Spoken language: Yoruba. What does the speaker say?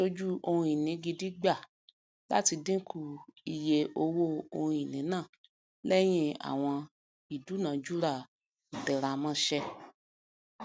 aṣojú ohunìní gidi gba láti dínkù ìye owó ohunìní náà lẹyìn àwọn ìdúnàjùrà ìtẹramọṣẹ